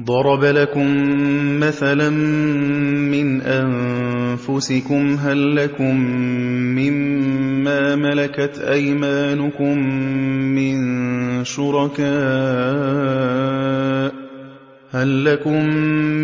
ضَرَبَ لَكُم مَّثَلًا مِّنْ أَنفُسِكُمْ ۖ هَل لَّكُم مِّن مَّا مَلَكَتْ أَيْمَانُكُم